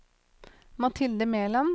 Mathilde Meland